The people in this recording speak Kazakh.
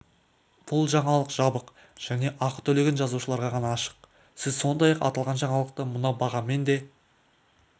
бұл жаңалық жабық және ақы төлеген жазылушыларға ғана ашық сіз сондай-ақ аталған жаңалықты мына бағамен де